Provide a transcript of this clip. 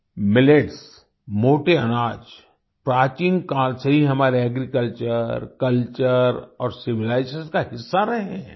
millets मोटे अनाज प्राचीन काल से ही हमारे एग्रीकल्चर कल्चर और सिविलाइजेशन का हिस्सा रहे हैं